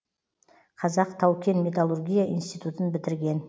қазақ тау кен металлургия институтын бітірген